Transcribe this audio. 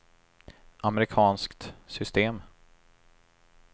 amerikanskt system